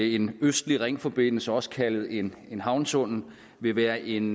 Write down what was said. en østlig ringforbindelse også kaldet en en havnetunnel vil være en